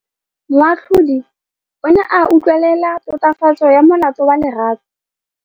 Moatlhodi o ne a utlwelela tatofatsô ya molato wa Lerato.